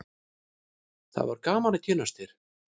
það var gaman að kynnast þér